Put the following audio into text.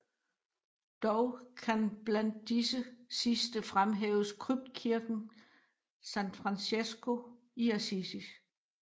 Dog kan blandt disse sidste fremhæves Kryptkirken San Francesco i Assisi